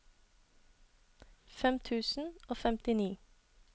fem tusen og femtini